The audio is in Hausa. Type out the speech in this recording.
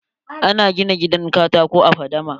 Ana gina gidan katako a fadama?